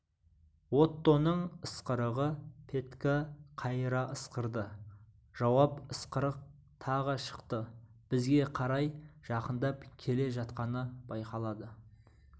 оттоның ысқырығы петька қайыра ысқырды жауап ысқырық тағы шықты бізге қарай жақындап келе жатқаны байқалады